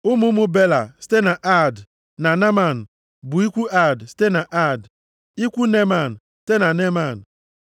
Ụmụ ụmụ Bela site na Aad, na Naaman bụ, ikwu Aad site na Aad, ikwu Neeman site na Neeman.